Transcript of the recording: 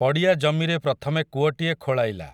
ପଡ଼ିଆ ଜମିରେ ପ୍ରଥମେ କୂଅଟିଏ ଖୋଳାଇଲା ।